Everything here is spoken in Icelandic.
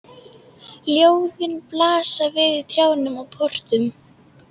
Ljóðin blasa við í trjám og portum.